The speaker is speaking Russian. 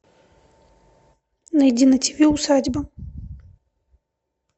найди на тв усадьба